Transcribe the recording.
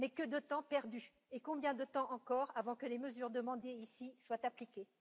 Mais que de temps perdu, et combien de temps encore avant que les mesures demandées ici soient appliquées?